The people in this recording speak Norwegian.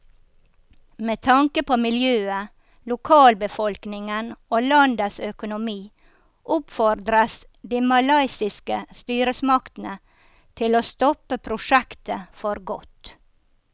Med tanke på miljøet, lokalbefolkningen og landets økonomi oppfordres de malaysiske styresmaktene til å stoppe prosjektet for godt.